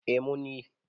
e mun yi